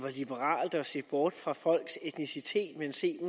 er liberalt at se bort fra folks etnicitet og se